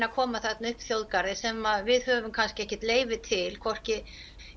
að koma upp þjóðgarði sem við höfum kannski ekkert leyfi til hvorki